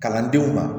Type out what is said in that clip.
Kalandenw ma